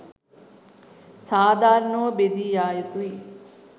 සාධාරණව බෙදී යායුතුයි